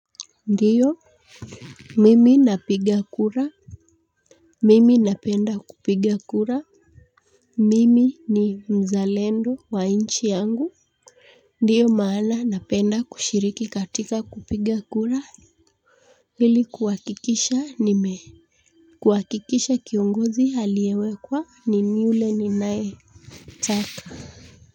Ndiyo mimi napiga kura. Mimi napenda kupiga kura. Mimi ni mzalendo wa nchi yangu. Ndiyo maana napenda kushiriki katika kupiga kura. Hili kuhakikisha nime kuhakikisha kiongozi aliyewekwa ni ni ule ninayetaka.